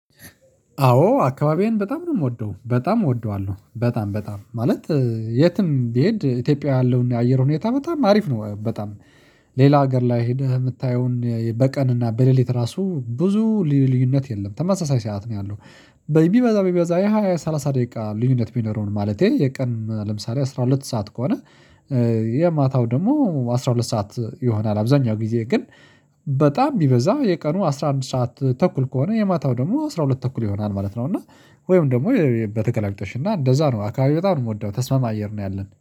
አዎ አካባቢዬን በጣም ነው የምወደው በጣም እወደዋለሁ በጣም በጣም ማለት የትም ቢሄድ ኢትዮጵያውያ ያለው የአየር ሁኔታ በጣም አሪፍ ነው። በጣም ሌላ ሀገር ላይ ሄደህ የምታየውን በቀን እና በሌሊት ራሱ ብዙ ልዩነት የለም ተመሳሳይ ሰዓት ነው ያለው። ቢበዛ ቢበዛ የሃያ ሰላሳ ደቂቃ ልዩነት ቢኖረውም ማለቴ የቀን ለምሳሌ አስራ ሁለት ሰዓት ከሆነ። የማታው ደግሞ አስራ ሁለት ሰዓት ይሆናል አብዛኛው ጊዜ ግን በጣም ቢበዛ የቀኑ አስራ አንድ ሰዓት ተኩል ከሆነ የማታው ደግሞ አስራ ሁለት ተኩል ይሆናል ማለት ነው። እና ወይም ደግሞ በተገላቢጦሽ እና እንደዛ ነው አካባቢ በጣም ነው የምወደው ተስማሚ አየር ነው ያለን።